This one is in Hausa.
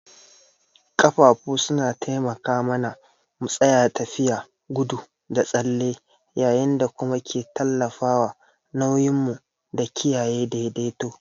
Ƙafafu suna taimaka mana mu tsaya, tafiya, gudu da tsalle yayin da kuma ke tallafawa nauyin mu da kiyaye daidaito.